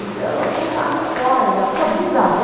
Então, eu contava histórias, a sua bisavó...